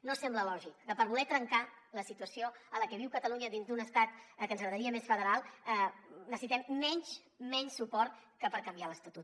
no sembla lògic que per voler trencar la situació en la que viu catalunya dins d’un estat que ens agradaria més federal necessitem menys menys suport que per canviar l’estatut